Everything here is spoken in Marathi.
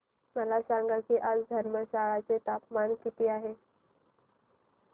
मला सांगा की आज धर्मशाला चे तापमान किती आहे